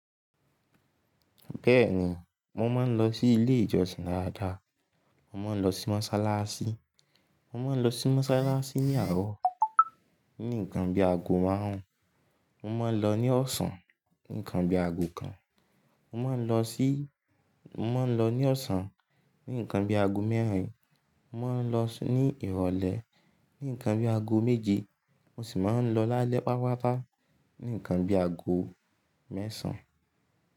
Bẹ́ẹ̀ni, mo máa ń lọ sí ilé ìjọsìn da dá. Mo máa ń lọ sí mọ́sálásí. Mo máa ń lọ sí mọ́sálásí ní àárọ̀, ní ǹkan bí i ago márùn-ún. Mo máa ń lọ ní ọ̀sán ní ǹkan bí i ago kan. Mo máa ń lọ sí-- mo máa ń lọ ní ọ̀sán ní ǹkan bí i ago mẹ́rin. Mo máa ń lọ ní ìrọ̀lẹ́ ní ǹkan bí i ago méje. Mo sì máa ń lọ lálẹ́ patapata ní ǹkan bí i ago mẹ́sàn-án.